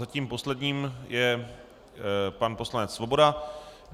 Zatím posledním je pan poslanec Svoboda.